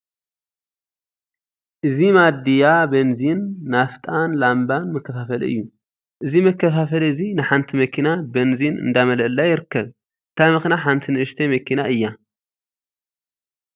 እዚ ማድያ በንዚን፣ ናፍጣን ላምባን መከፋፈሊ እዩ። እዚ መከፋፈሊ እዚ ንሓንቲ መኪና በንዚን እንዳመለአላ ይርከብ። እታ መኪና ሓንቲ ንእሽተይ መኪና እያ።